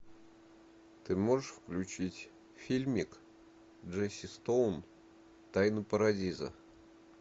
ты можешь включить фильмик джесси стоун тайны парадиза